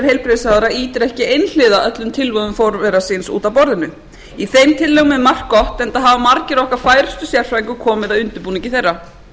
ráðherra ýtir ekki einhliða öllum tillögum forvera síns út af borðinu í þeim tillögum er margt gott enda hafa margir okkar færustu sérfræðinga komið að undirbúningi þeirra